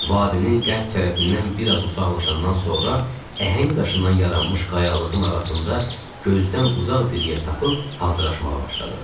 Vadisinin qərb tərəfindən biraz uzaqlaşandan sonra, əhəng daşından yaranmış qayalığın arasında gözdən uzaq bir yer tapıb hazırlaşmağa başladıq.